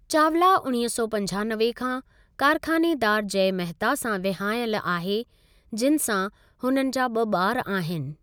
चावला उणिवींह सौ पंजानवे खां कारख़ानेदारु जय मेहता सां विहांयलि आहे जिनि सां हुननि जा ब॒ बारु आहिनि।